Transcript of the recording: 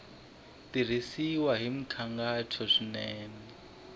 tirhisiwile hi nkhaqato swinene ku